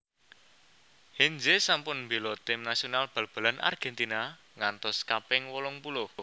Heinze sampun mbela tim nasional bal balan Argentina ngantos kaping wolung puluh